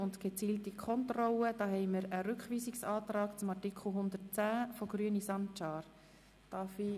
Zu Artikel 110 liegt ein Rückweisungsantrag der Grünen von Grossrat Sancar vor.